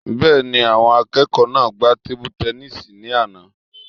Bẹ́ẹ̀ni, àwọn akẹ́kọ̀ọ́ náà gbá tebu-tẹnísì ní àná